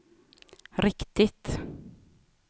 riktigt